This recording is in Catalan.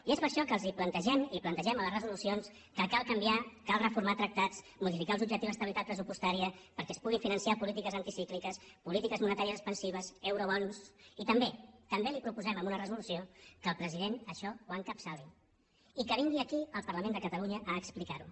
i és per això que els plantegem i plantegem a les resolucions que cal canviar cal reformar tractats modificar els objectius d’estabilitat pressupostària perquè es puguin finançar polítiques anticícliques polítiques monetàries expansives eurobons i també també li proposem en una resolució que el president això ho encapçali i que vingui aquí al parlament de catalunya a explicarho